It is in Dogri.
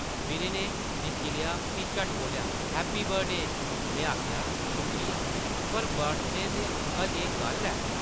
विनय नै दिक्खी लेआ फ्ही झट्ट बोल्लेआ, ‘‘हैपी बर्थडे !’’ में आखेआ, ‘‘शुक्रिया, पर बर्थडे अजें कल्ल ऐ ?’’